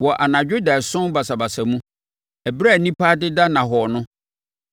Wɔ anadwo daeɛso basabasa mu, ɛberɛ a nnipa adeda nnahɔɔ no,